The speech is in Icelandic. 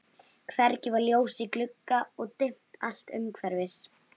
Hvergi var ljós í glugga og dimmt allt umhverfis.